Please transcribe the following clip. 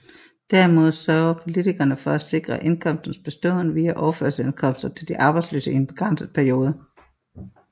Derimod sørger politikerne for at sikre indkomsternes beståen via overførselsindkomster til de arbejdsløse i en begrænset periode